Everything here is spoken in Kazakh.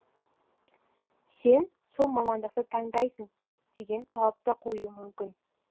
сен сол мамандықты таңдайсың деген талапты қою мүмкін